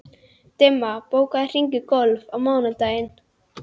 Dimma, bókaðu hring í golf á mánudaginn.